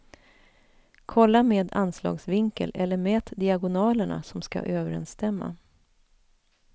Kolla med anslagsvinkel eller mät diagonalerna som ska överensstämma.